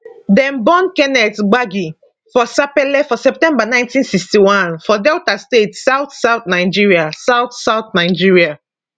dem born kenneth gbagi for sapele for september 1961 for delta state southsouth nigeria southsouth nigeria